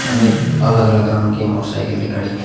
अनेक अलग-अलग रंग की मोटर साइकिले खड़ी हैं।